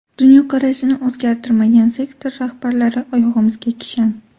Dunyoqarashini o‘zgartirmagan sektor rahbarlari oyog‘imizga kishan.